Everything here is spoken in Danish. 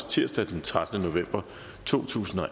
tirsdag den trettende november totusinde og